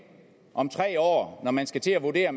om tre år når man skal til at vurdere